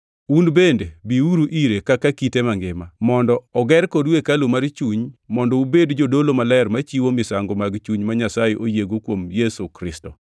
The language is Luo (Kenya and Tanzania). Un bende biuru ire kaka kite mangima, mondo oger kodu hekalu mar chuny mondo ubed jodolo maler machiwo misango mag chuny ma Nyasaye oyiego kuom Yesu Kristo.